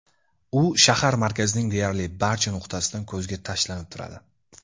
U shahar markazining deyarli barcha nuqtasidan ko‘zga tashlanib turadi.